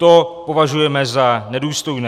To považujeme za nedůstojné."